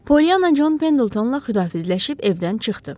Pollyana Çon Pendiltonla xüdahafizləşib evdən çıxdı.